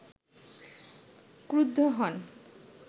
ক্রুদ্ধ হন